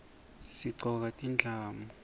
sigcoka tindlamu